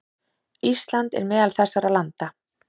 Ísland er meðal þessara landa.